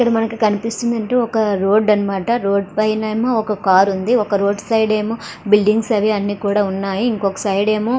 ఇక్కడ మనకి కనిపిస్తున్నట్టు ఒక రోడ్డు అని మాట. రోడ్డు పైన ఒక కారు ఉంది. ఒక రోడ్డు సైడ్ ఏమో బిల్డింగ్స్ అవన్నీ కూడా ఉన్నాయి.